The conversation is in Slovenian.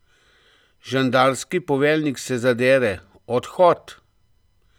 Žandarski poveljnik se zadere Odhod!